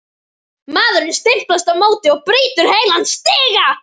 Maðurinn stimpast á móti og brýtur heilan stiga!